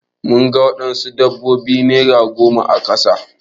Mun ga wadansu sabbabin nera goma a kasa.